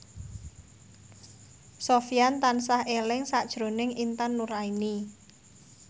Sofyan tansah eling sakjroning Intan Nuraini